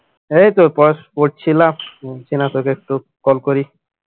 এইতো পড় পড়ছিলাম চেনা তোকে একটু call করি